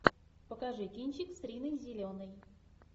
покажи кинчик с риной зеленой